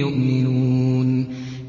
يُؤْمِنُونَ